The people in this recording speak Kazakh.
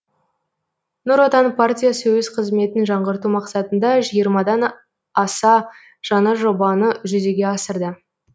нұр отан партиясы өз қызметін жаңғырту мақсатында жиырмадан аса жаңа жобаны жүзеге асырды